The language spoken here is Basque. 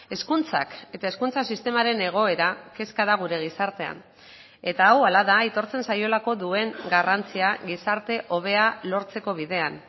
hezkuntzak eta hezkuntza sistemaren egoera kezka da gure gizartean eta hau hala da aitortzen zaiolako duen garrantzia gizarte hobea lortzeko bidean